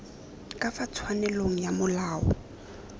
ka fa tshwanelong ka molao